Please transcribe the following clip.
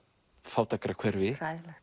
fátækrahverfi hræðilegt